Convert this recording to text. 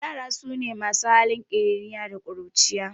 Ƴara sune masu halin kiriniya da ƙuruciya